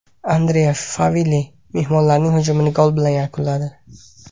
Andrea Favilli mehmonlarning hujumini gol bilan yakunladi.